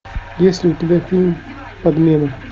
есть ли у тебя фильм подмена